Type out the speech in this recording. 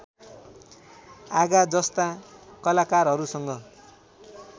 आगा जस्ता कलाकारहरूसँग